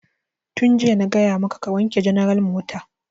Tun jiya na gaya maka ka wanke ya general mota!